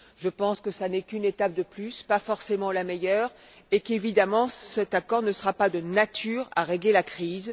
Je pense qu'il n'est qu'une étape de plus, pas forcément la meilleure, et qu'évidemment, il ne sera pas de nature à régler la crise.